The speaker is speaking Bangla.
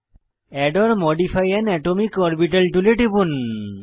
add or modify an atomic orbital টুলে টিপুন